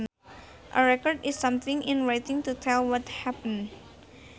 A record is something in writing to tell what happened